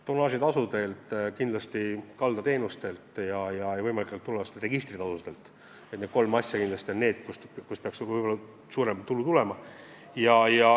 Tonnaažitasud, kindlasti kaldateenuste tasud ja võimalikud tulevased registritasud – need kolm on allikad, kust peaks suurem tulu tulema.